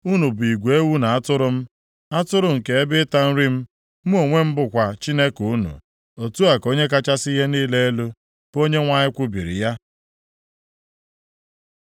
Unu bụ igwe ewu na atụrụ m, atụrụ nke ebe ịta nri m, mụ onwe m bụkwa Chineke unu. Otu a ka Onye kachasị ihe niile elu, bụ Onyenwe anyị kwubiri ya.’ ”